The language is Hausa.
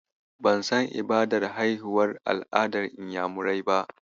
Ban san ibadar haihuwar al'adar Inyamurai ba.